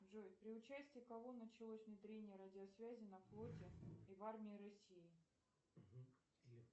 джой при участии кого началось внедрение радиосвязи на флоте и в армии россии